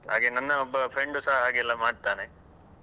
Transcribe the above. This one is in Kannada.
ಹಾಗೆ ನನ್ನ ಒಬ್ಬ friend ಉ ಸ ಹಾಗೆಲ್ಲ ಮಾಡ್ತಾನೆ.